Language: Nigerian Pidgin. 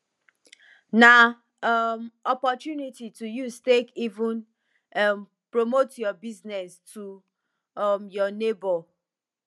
na um opportunity to use take even um promote yur business to um yur neibor